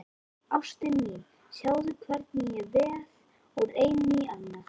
Ástin mín, sjáðu hvernig ég veð úr einu í annað.